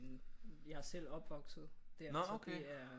Jeg er selv opvokset der så det er